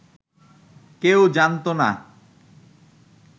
কেউ জানত না